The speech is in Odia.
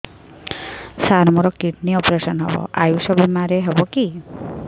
ସାର ମୋର କିଡ଼ନୀ ଅପେରସନ ହେବ ଆୟୁଷ ବିମାରେ ହେବ କି